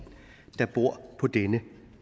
der bor på denne